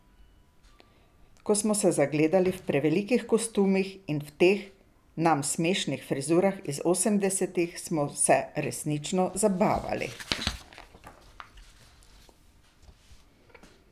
Ko smo se zagledali v prevelikih kostumih in v teh nam smešnih frizurah iz osemdesetih, smo se resnično zabavali.